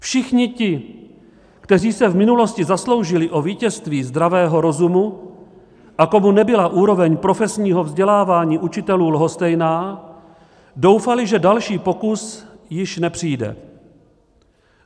Všichni ti, kteří se v minulosti zasloužili o vítězství zdravého rozumu a komu nebyla úroveň profesního vzdělávání učitelů lhostejná, doufali, že další pokus již nepřijde.